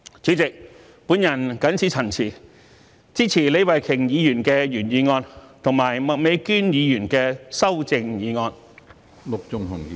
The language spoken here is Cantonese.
主席，我謹此陳辭，支持李慧琼議員的原議案及麥美娟議員的修正案。